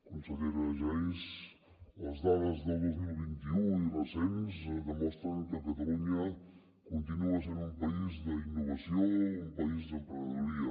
consellera geis les dades del dos mil vint u i recents demostren que catalunya continua sent un país d’innovació un país d’emprenedoria